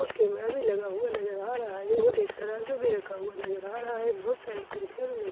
और कैमरा भी लगा हुआ नजर आ रहा है और एक तराजू भी नजर आ रहा है बहुत सारी कुर्सियाँ भी रखी हुई नजर आ --